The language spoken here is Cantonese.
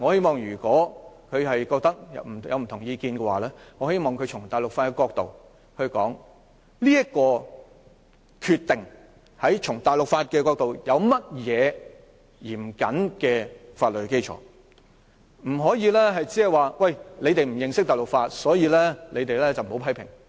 她若有不同意見，我希望她從大陸法的角度說說這個決定有何嚴謹的法律基礎，不可以只說："你們不認識大陸法便不要批評"。